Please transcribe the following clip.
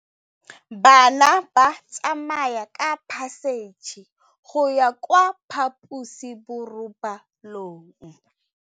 Bana ba tsamaya ka phašitshe go ya kwa phaposiborobalong.